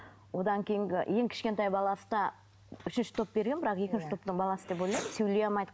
одан кейінгі ең кішкентай баласы да үшінші топ берген бірақ екінші топтың баласы деп ойлаймын сөйлей алмайды